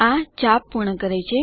આ ચાપ પૂર્ણ કરે છે